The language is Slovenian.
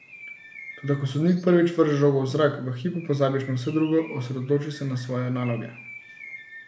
Toda ko sodnik prvič vrže žogo v zrak, v hipu pozabiš na vse drugo, osredotočiš se na svoje naloge.